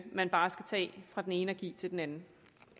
man bare skal tage fra den ene og give til den anden